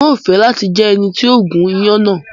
N o fẹ lati jẹ ẹni ti o gún iyán náà